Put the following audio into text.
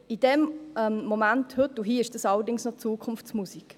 In diesem Moment, heute und hier, ist das allerdings noch Zukunftsmusik.